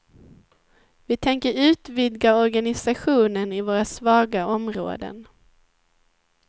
Vi tänker utvidga organisationen i våra svaga områden.